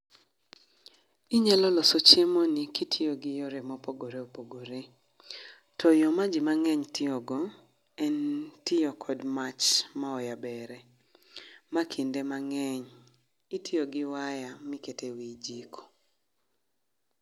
Inyalo loso chiemo ni kitiyo gi yore ma opogore opogore. To yoo ma jii mangeny tiyogo en tiyo kod mach ma oyebere, ma kinde mangeny itiyo gi waya miketo e wii jiko